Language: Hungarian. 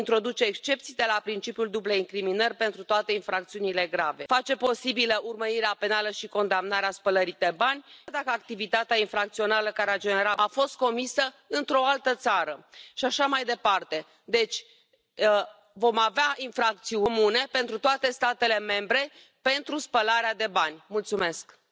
meg. Meszerics Tamás Zöld képviselőtársunk az otthoni pártjától kapott egy olyan instrukciót a szavazásra, amivel ő nem értett egyet, ezért lenyilatkozta a sajtóban, hogy nem jön be szavazni. Ez egy másik történet. Kérem szépen, hagyják abba a csalást! Hát ez gyakorlatilag bűncselekmény, ez undorító, visszataszító. Vegyék tudomásul, hogy veszítettek! Isten óvja és vezesse Magyarországot!